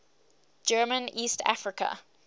german east africa